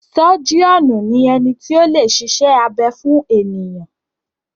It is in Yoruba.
Sọ́jíọ̀nù ni ẹni tí o lè ṣiṣẹ́ abẹ fún ènìyàn.